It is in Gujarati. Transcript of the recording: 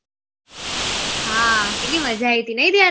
હા કેટલી મજા આયી થી નહી દયા